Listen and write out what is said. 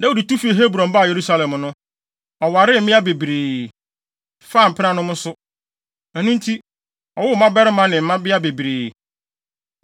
Dawid tu fi Hebron baa Yerusalem no, ɔwaree mmea bebree, faa mpenanom nso. Ɛno nti, ɔwoo mmabarima ne mmabea bebree.